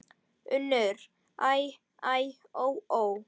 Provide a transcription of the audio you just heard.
UNNUR: Æ, æ, ó, ó!